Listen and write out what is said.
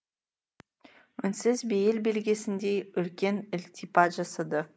үнсіз бейіл белгісіндей үлкен ілтипат жасады